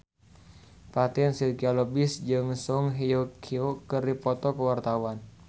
Fatin Shidqia Lubis jeung Song Hye Kyo keur dipoto ku wartawan